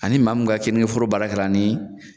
Ani maa mun ka keninke foro baara kɛira nin